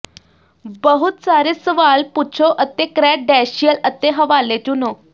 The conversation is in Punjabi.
ਬਹੁਤ ਸਾਰੇ ਸਵਾਲ ਪੁੱਛੋ ਅਤੇ ਕ੍ਰੈਡੈਂਸ਼ੀਅਲ ਅਤੇ ਹਵਾਲੇ ਚੁਣੋ